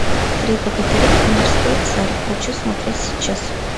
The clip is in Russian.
три богатыря и морской царь хочу смотреть сейчас